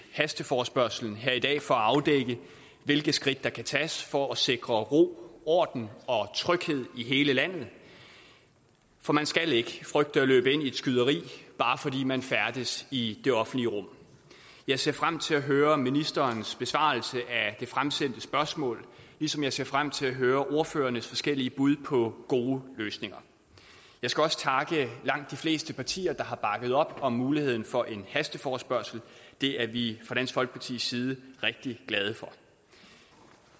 hasteforespørgslen her i dag for at afdække hvilke skridt der kan tages for at sikre ro orden og tryghed i hele landet for man skal ikke frygte at løbe ind i et skyderi bare fordi man færdes i det offentlige rum jeg ser frem til at høre ministerens besvarelse af det fremsendte spørgsmål ligesom jeg ser frem til at høre ordførernes forskellige bud på gode løsninger jeg skal også takke at langt de fleste partier har bakket op om muligheden for en hasteforespørgsel det er vi fra dansk folkepartis side rigtig glade for